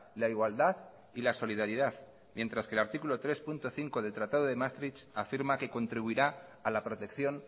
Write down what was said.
la igualdad y la solidaridad mientras que el artículo tres punto cinco del tratado de maastricht afirma que contribuirá a la protección